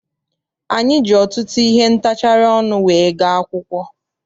Anyị ji ọtụtụ ihe ntachari ọnụ wee gaa akwụkwọ.